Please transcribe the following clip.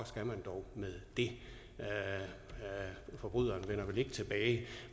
skal man dog med det forbryderen vender vel ikke tilbage